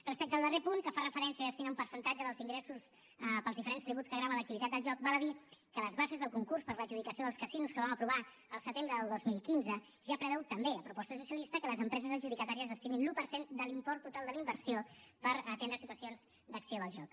respecte al darrer punt que fa referència i destina un percentatge dels ingressos pels diferents tributs que graven l’activitat del joc val a dir que les bases del concurs per a l’adjudicació dels casinos que vam aprovar al setembre del dos mil quinze ja preveu també a proposta socialista que les empreses adjudicatàries destinin l’un per cent de l’import total de la inversió per atendre situacions d’acció del joc